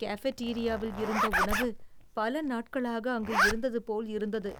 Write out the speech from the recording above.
கஃபேட்டீரியாவில் இருந்த உணவு பல நாட்களாக அங்கு இருந்ததுபோல் இருந்தது.